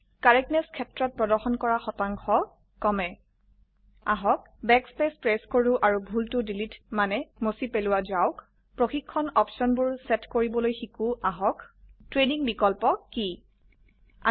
correctness ক্ষেত্ৰত প্ৰদৰ্শন কৰা শতাংশ কমে আহক ব্যাকস্পেস প্ৰেস কৰো আৰু ভুল টো ডিলিট মানে মুছি পেলোৱা যাওক প্ৰশিক্ষণ অপশনবোৰ সেট কৰিবলৈ শিকো আহক ট্ৰেনিং বিকল্প কি160